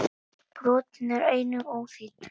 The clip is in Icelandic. Brotin eru einnig óþýdd.